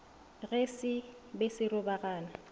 ge se be se robagana